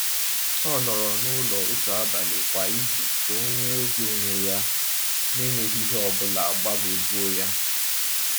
O nọrọ n’ụlọ otu abalị kwa izu ka o nwee oge onwe ya n’enweghị ihe ọ bụla gbagwojuo ya.